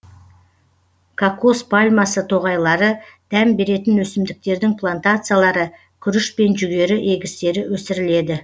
кокос пальмасы тоғайлары дәм беретін өсімдіктердің плантациялары күріш пен жүгері егістері өсіріледі